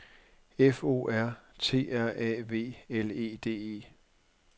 F O R T R A V L E D E